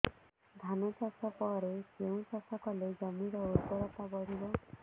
ଧାନ ଚାଷ ପରେ କେଉଁ ଚାଷ କଲେ ଜମିର ଉର୍ବରତା ବଢିବ